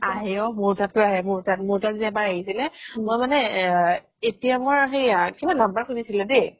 আহে ঔ মোৰ তাত ও আহে মোৰ তাত, মোৰ তাত যে এবাৰ আহিছিলে মই মানে এতিয়া মোৰ সেৱা number খুজিছিলে দেই